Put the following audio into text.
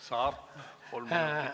Saab kolm minutit.